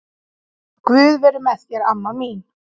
Guð veri með þér amma mín.